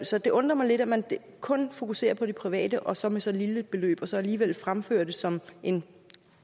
så det undrer mig lidt at man kun fokuserer på det private og så med så lille et beløb og så alligevel fremfører det som en